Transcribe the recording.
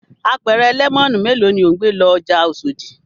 Apẹ̀rẹ̀ lẹ́mọ́nù mélòó ni ò ń gbé lọ ọjà Oṣòdì?